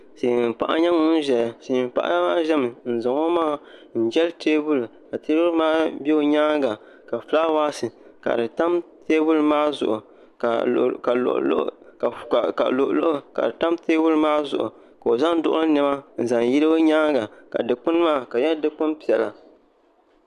Silmiin paɣa n nyɛ ŋun ʒɛya n zaŋ o maŋa jɛli teebuli ka teebuli maa ʒɛ o nyaanga ka fulaawaasi ka di tam teebuli maa zuɣu ka luɣuluɣu ka di tam teebuli maa zuɣu ka o zaŋ duɣuli niɛma n zaŋ yili o nyaanga ka dikpuni maa ka di nyɛ dikpuni piɛla